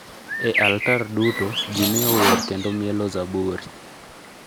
e altar duto, ji ne ower kendo mielo zaburi.